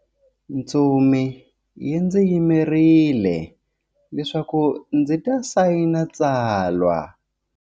Ntsumi yi ndzi yimerile leswaku ndzi ta sayina tsalwa.